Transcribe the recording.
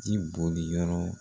Ji boli yɔrɔ